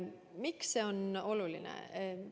Miks see on oluline?